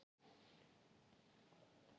Af hverju skyldi það vera?